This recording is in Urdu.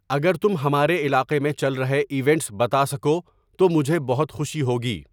اگر تم ہمارے علاقے میں چل رہے ایونٹس بتا سکو تو مجھے بہت خوشی ہوگی